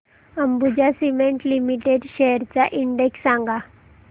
Ambuja cement limited shares चा index सांगा